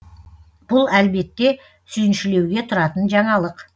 бұл әлбетте сүйіншілеуге тұратын жаңалық